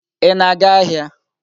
Ị na-aga ahịa?